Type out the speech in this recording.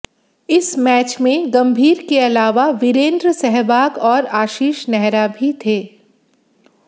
इस मैच में गंभीर के अलावा वीरेंद्र सहवाग और आशीष नेहरा भी थे